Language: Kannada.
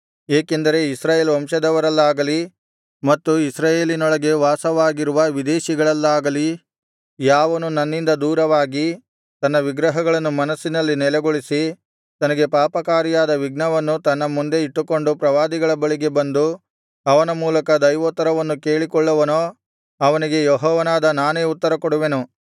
ಏಕೆಂದರೆ ಇಸ್ರಾಯೇಲ್ ವಂಶದವರಲ್ಲಾಗಲಿ ಮತ್ತು ಇಸ್ರಾಯೇಲಿನೊಳಗೆ ವಾಸವಾಗಿರುವ ವಿದೇಶಿಗಳಲ್ಲಾಗಲಿ ಯಾವನು ನನ್ನಿಂದ ದೂರವಾಗಿ ತನ್ನ ವಿಗ್ರಹಗಳನ್ನು ಮನಸ್ಸಿನಲ್ಲಿ ನೆಲೆಗೊಳಿಸಿ ತನಗೆ ಪಾಪಕಾರಿಯಾದ ವಿಘ್ನವನ್ನು ತನ್ನ ಮುಂದೆ ಇಟ್ಟುಕೊಂಡು ಪ್ರವಾದಿಯ ಬಳಿಗೆ ಬಂದು ಅವನ ಮೂಲಕ ದೈವೋತ್ತರವನ್ನು ಕೇಳಿಕೊಳ್ಳುವನೋ ಅವನಿಗೆ ಯೆಹೋವನಾದ ನಾನೇ ಉತ್ತರಕೊಡುವೆನು